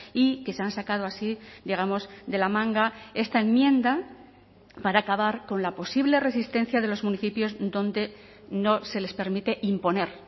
y que se han sacado así digamos de la manga esta enmienda para acabar con la posible resistencia de los municipios donde no se les permite imponer